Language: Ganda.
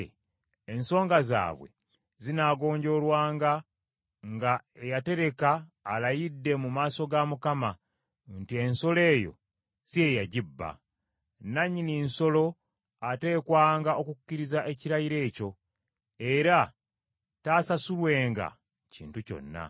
ensonga zaabwe zinaagonjoolwanga nga eyatereka alayidde mu maaso ga Mukama nti ensolo eyo si ye yagibba. Nannyini nsolo ateekwanga okukkiriza ekirayiro ekyo, era taasasulwenga kintu kyonna.